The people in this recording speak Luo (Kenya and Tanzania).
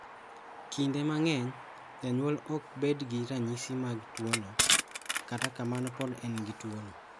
Kinde mang'eny janyuol ok bed gi ranyisi mag tuwono, kata kamano pod en gi tuwono.